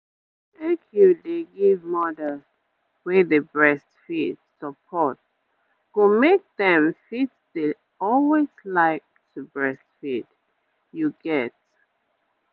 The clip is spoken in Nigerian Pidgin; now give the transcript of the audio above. make you dey give mothers wey dey breastfeed support go make dem fit dey always like to breastfeed you get